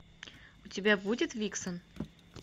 у тебя будет виксон